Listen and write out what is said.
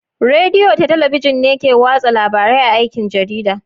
Rediyo da Talabijin ne ke watsa labarai a aikin jarida.